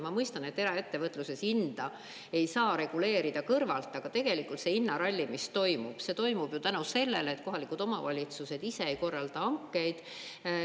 Ma mõistan, et eraettevõtluses hinda ei saa reguleerida kõrvalt, aga tegelikult see hinnaralli, mis toimub, see toimub tänu sellele, et kohalikud omavalitsused ise ei korralda hankeid.